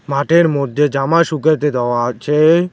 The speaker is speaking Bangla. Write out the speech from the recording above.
মাঠের মধ্যে জামা শুকাইতে দেওয়া আছে।